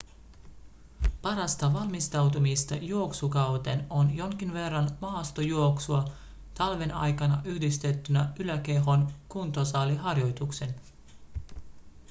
parasta valmistautumista juoksukauteen on jonkin verran maastojuoksua talven aikana yhdistettynä yläkehon kuntosaliharjoituksiin